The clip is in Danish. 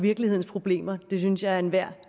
virkelighedens problemer det synes jeg er enhver